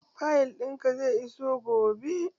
Fayil ɗin ka zai iso gobe